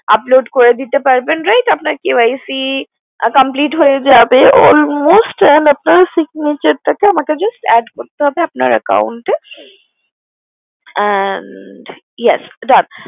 Upload করে দিতে পারবেন right আপনার KYC complete হয়ে যাবে almost and আপনার signature টা কে just আমাকে add করতে হবে আপনার Account এ and Yes Done